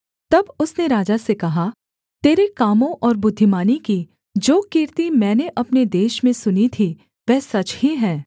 तब उसने राजा से कहा तेरे कामों और बुद्धिमानी की जो कीर्ति मैंने अपने देश में सुनी थी वह सच ही है